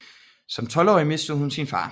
Som 12 årig mistede hun sin far